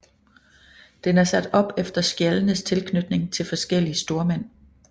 Den er sat op efter skjaldenes tilknytning til forskellige stormænd